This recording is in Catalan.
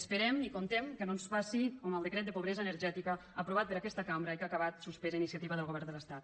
esperem i comptem que no ens passi com amb el decret de pobresa energètica aprovat per aquesta cambra i que ha acabat suspès a iniciativa del govern de l’estat